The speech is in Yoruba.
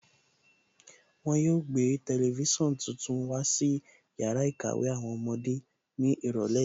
Wọn yóò gbé tẹlifísàn tuntun wá sí yàrá ìkàwé àwọn ọmọdé ní ìrọ̀lẹ́ yìí